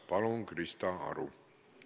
Palun, Krista Aru!